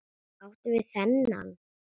Áttu við þennan?